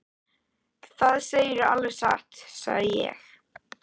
Það segirðu alveg satt, sagði ég.